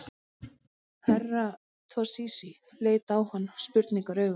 Herra Toshizi leit á hann spurnaraugum.